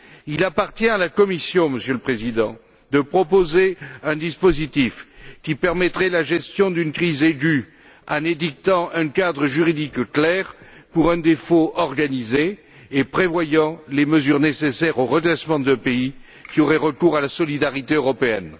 Il appartient à la Commission, Monsieur le Président, de proposer un dispositif qui permettrait la gestion d'une crise aiguë en édictant un cadre juridique clair pour un défaut organisé et prévoyant les mesures nécessaires au redressement d'un pays qui aurait recours à la solidarité européenne.